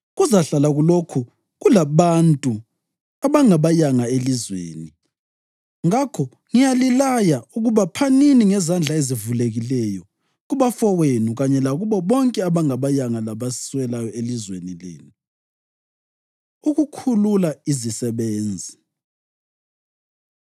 Kuzahlala kulokhu kulabantu abangabayanga elizweni. Ngakho ngiyalilaya ukuba phanini ngezandla ezivulekileyo kubafowenu kanye lakubo bonke abangabayanga labaswelayo elizweni lenu.” Ukukhulula Izisebenzi